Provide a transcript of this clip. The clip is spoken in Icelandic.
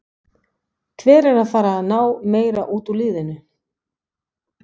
Hver er að fara að ná meira út úr liðinu?